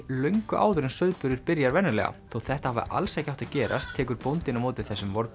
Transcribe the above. löngu áður en sauðburður byrjar venjulega þótt þetta hafi alls ekki átt að gerast tekur bóndinn á móti þessum